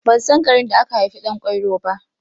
Ban san garin da aka haifi Ɗan kwairo ba.